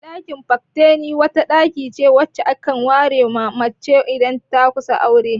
Dakin "Fattening", wata ɗaki ce wacce aka ware ma 'ya mace idan ta kusa aure.